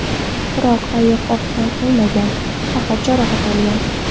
Biroq ayiq o‘qdan o‘lmagan, faqat jarohat olgan.